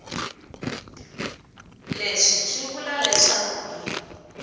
leswi swi vula leswaku hi